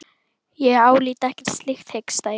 Ég álít ekkert slíkt, hiksta ég.